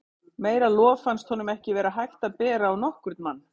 Meira lof fannst honum ekki vera hægt að bera á nokkurn mann.